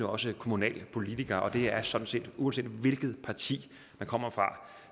også kommunalpolitikere og det er sådan set uanset hvilket parti man kommer fra